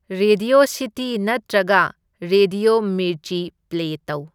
Radio city ꯅꯠꯇ꯭ꯔꯒ radio ꯃꯤꯔꯆꯤ play ꯇꯧ꯫